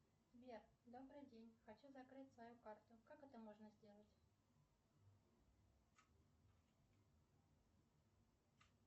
сбер добрый день хочу закрыть свою карту как это можно сделать